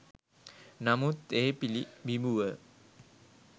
නමුත් ඒ පිළිබිඹුව